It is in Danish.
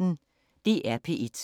DR P1